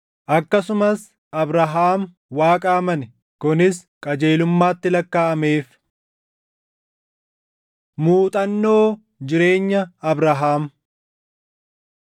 Akkasumas Abrahaam, “Waaqa amane; kunis qajeelummaatti lakkaaʼameef.” + 3:6 \+xt Uma 15:6\+xt* Muuxannoo Jireenya Abrahaam